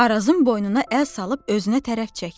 Arazın boynuna əl salıb özünə tərəf çəkdi.